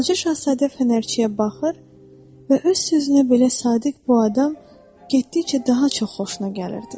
Balaca Şahzadə fənərçiyə baxır və öz sözünə belə sadiq bu adam getdikcə daha çox xoşuna gəlirdi.